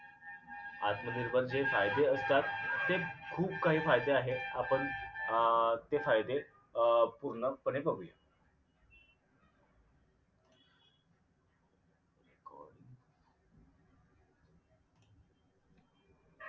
आत्मनिर्भरचे जे फायदे असतात ते खूप काही फायदे आहेत आपण अं ते फायदे अं पूर्णपणे बघूया